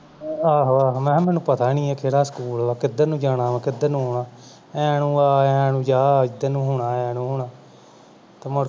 ਆਹੋ ਆਹੋ ਮੈਂ ਕਿਹਾ ਮੈਨੂੰ ਪਤਾ ਹੀ ਨਹੀਂ ਹੈ ਕਿ ਡਾ school ਆ ਕਿਧਰ ਨੂੰ ਜਾਣਾ ਕਿਧਰ ਨੂੰ ਆਉਣਾ ਐ ਨੂੰ ਆ ਐ ਨੂੰ ਜਾ ਏਧਰ ਨੂੰ ਹੋਣਾ ਐ ਨੂੰ ਹੋਣਾ ਤੇ